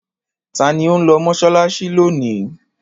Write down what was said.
Ta ni ó ń lọ mọ́ṣáláṣí lónìí?